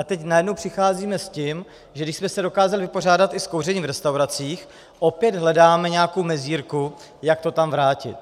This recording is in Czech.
A teď najednou přicházíme s tím, že když jsme se dokázali vypořádat i s kouřením v restauracích, opět hledáme nějakou mezírku, jak to tam vrátit.